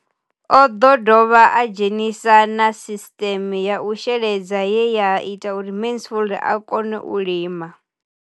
O ḓo dovha a dzhenisa na sisiṱeme ya u sheledza ye ya ita uri Mansfied a kone u lima.